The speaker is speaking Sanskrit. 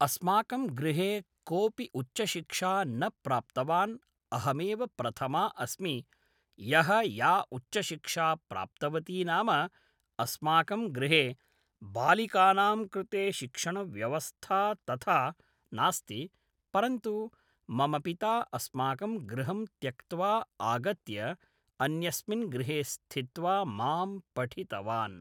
अस्माकं गृहे कोऽपि उच्चशिक्षा न प्राप्तवान् अहमेव प्रथमा अस्मि यः या उच्चशिक्षा प्राप्तवती नाम अस्माकं गृहे बालिकानां कृते शिक्षणव्यवस्था तथा नास्ति परन्तु मम पिता अस्माकं गृहं त्यक्त्वा आगत्य अन्यस्मिन् गृहे स्थित्वा मां पठितवान्